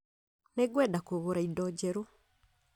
Nĩngwenda kũgũra indo njerũ